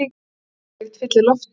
Svitalykt fyllir loftið.